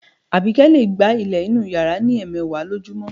Àbíkẹ́ lè gbá ilẹ̀ inú yàrá ní ẹ̀ẹmẹ̀wà lójúmọ́